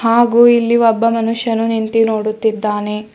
ಹಾಗೂ ಇಲ್ಲಿ ಒಬ್ಬ ಮನುಷ್ಯನು ನಿಂತಿ ನೋಡುತ್ತಿದ್ದಾನೆ.